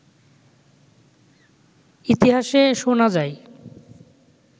ইতিহাসে শুনা যায়